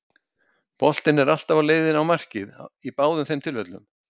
Boltinn er alltaf á leiðinni á markið í báðum þeim tilfellum.